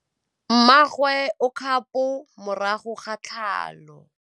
Mmagwe o kgapô morago ga tlhalô.